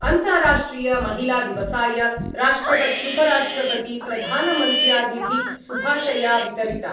अन्ताराष्ट्रियमहिलादिवसाय राष्ट्रपत्युपराष्ट्रपतिप्रधानमन्त्र्यादिभि शुभाशया वितरिता।